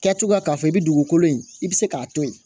Kɛ cogoya k'a fɔ i bɛ dugukolo in i bɛ se k'a to yen